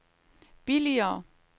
billigere